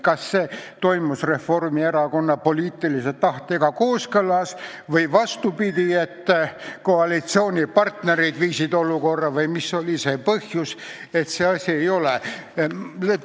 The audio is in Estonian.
Kas see toimus Reformierakonna poliitilise tahtega kooskõlas või koalitsioonipartnerid viisid olukorra selleni või mis oli see põhjus, et see asi ei ole tehtud?